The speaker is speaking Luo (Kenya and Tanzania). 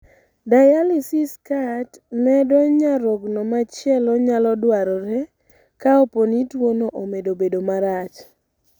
Dialysis kat medo nyarogno machielo nyalo dwarore kaopo ni tuwono omedo bedo marach.